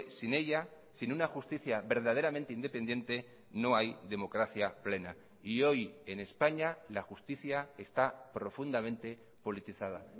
sin ella sin una justicia verdaderamente independiente no hay democracia plena y hoy en españa la justicia está profundamente politizada